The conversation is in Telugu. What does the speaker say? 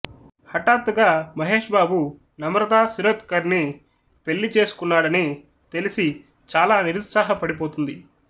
హఠాత్తుగా మహేష్ బాబు నమ్రతా శిరోద్కర్ని పెళ్ళిచేసేసుకున్నాడని తెలిసి చాలా నిరుత్సాహపడిపోతుంది